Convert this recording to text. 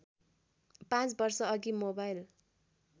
पाँच वर्षअघि मोबाइल